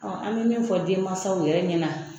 Ɔn an be min fɔ denmansaw yɛrɛ ɲɛna